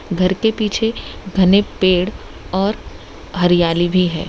घर के पीछे घने पेड़ और हरियाली भी है।